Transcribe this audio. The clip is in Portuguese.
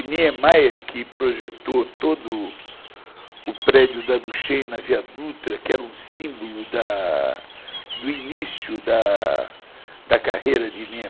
E Niemeyer, que projetou todo o o prédio da Duchenne na Via Dutra, que era um símbolo do início da carreira de Nie